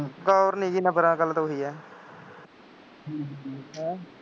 ਦੌਰ ਨਹੀਂ ਜੀ ਨੰਬਰਾਂ ਦਾ ਗੱਲ ਤਾਂ ਉਹੀ ਹੈ,